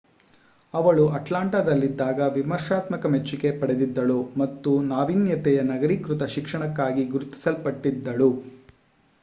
ಅವಳು ಅಟ್ಲಾಂಟಾದಲ್ಲಿದ್ದಾಗ ವಿಮರ್ಶಾತ್ಮಕ ಮೆಚ್ಚುಗೆ ಪಡೆದಿದ್ದಳು ಹಾಗೂ ನಾವೀನ್ಯತೆಯ ನಗರೀಕೃತ ಶಿಕ್ಷಣಕ್ಕಾಗಿ ಗುರುತಿಸಲ್ಪಟ್ಟಿದ್ದಳು